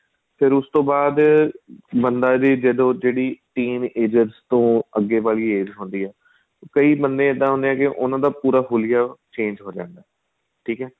ਫ਼ੇਰ ਉਸ ਬਾਅਦ ਬੰਦਾ ਏ ਉਹਦੋ ਜਿਹੜੀ teen ages ਤੋ ਅੱਗੇ ਵਾਲੀ age ਹੁੰਦੀ ਏ ਕਈ ਬੰਦੇ ਇਹਦਾ ਹੁੰਦਾ ਏ ਉਹਨਾ ਦਾ ਪੂਰਾ ਹੁੱਲੀਆਂ change ਹੋ ਜਾਂਦਾ ਠੀਕ ਏ